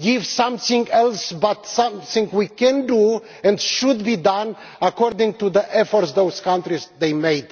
give something else, but something we can do and which should be done according to the efforts those countries have made.